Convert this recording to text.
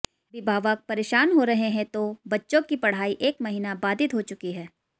अभिभावक परेशान हो रहे हैं तो बच्चों की पढ़ाई एक महीना बाधित हो चुकी है